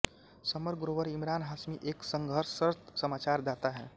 summer Grover Imran Hashmi एक संघर्षरत समाचार दाता है